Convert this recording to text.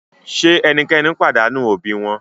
Ṣe ẹnikẹni padanu obi wọn?